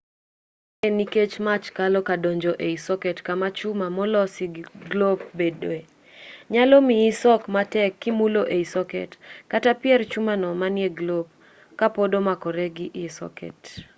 ma en nikech mach kalo kadonjo ei soket kama chuma moloso glop bedoe nyalo miyi sok matek kimulo iy soket kata pier chumano manie glop kapod omakore gi iy soket